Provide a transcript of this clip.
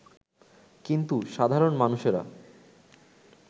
কিন্তু সাধারণ মানুষেরা